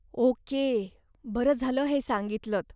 Okay, बरं झालं हे सांगितलत.